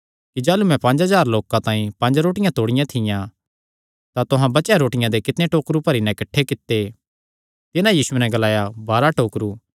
कि जाह़लू मैं पंज हज़ार लोकां तांई पंज रोटियां तोड़ियां थियां तां तुहां बचेयो रोटियां दे कितणे टोकरु भरी नैं किठ्ठे कित्ते तिन्हां यीशुये नैं ग्लाया बाराह टोकरु